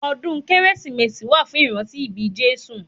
Ọdún kérésìmesì wà fún ìrántí ibí Jésù